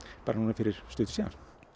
fyrir stuttu síðan